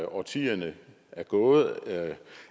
årtierne er gået